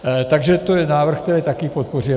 Takže to je návrh, který také podpoříme.